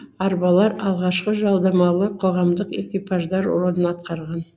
арбалар алғашқы жалдамалы қоғамдық экипаждар рөлін атқарған